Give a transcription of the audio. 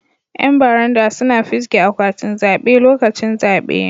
Yan baranda suna fisge akwatin zabe lokacin zabe.